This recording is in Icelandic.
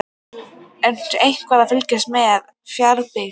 Ertu eitthvað að fylgjast með Fjarðabyggð?